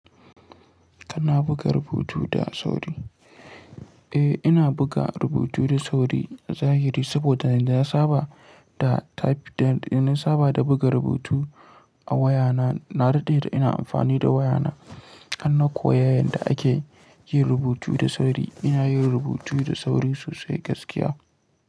Kana buga rubutu da sauri? Eh, ina buga rubutu da sauri zahiri saboda yanda na saba da type da na saba da buga rubutu a waya na. Na dade da ina amfani da waya na, har na koya yanda ake yin rubutu da sauri. Ina yin rubutu da sauri sosai gaskiya.